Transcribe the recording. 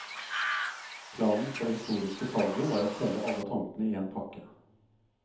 Planen for det historiske salget var å selge alle tomtene i en pakke.